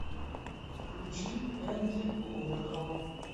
включи энди уорхол